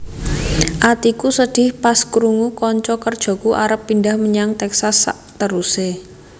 Atiku sedih pas krungu konco kerjoku arep pindah menyang Texas sakteruse